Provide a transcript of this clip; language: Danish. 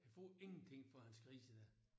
Han får ingenting for hans grise i dag